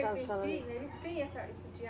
em si ele tem essa, esse